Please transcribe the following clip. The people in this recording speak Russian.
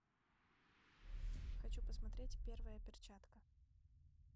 хочу посмотреть первая перчатка